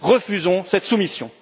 Refusons cette soumission.